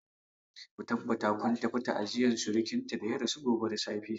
Ku tabbata kun tafi ta'aziyar surkinta da ya rasu gobe da safe.